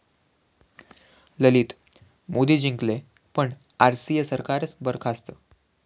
ललित 'मोदी' जिंकले पण आरसीए 'सरकार'च बरखास्त!